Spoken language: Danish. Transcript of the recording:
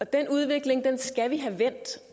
den udvikling skal vi have vendt